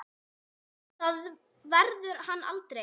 Það verður hann aldrei.